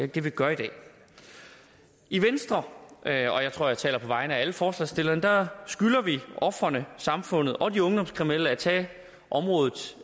det vi gør i dag i venstre og jeg tror jeg taler på vegne af alle forslagsstillerne skylder vi ofrene samfundet og de ungdomskriminelle at tage området